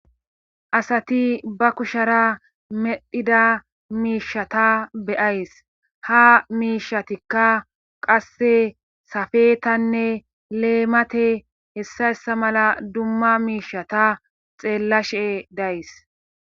Asati ba kushara medhida miishata beyays ha miishatikka qasse safetanne leemate hessayssa mala dumma miishata xeellashe days.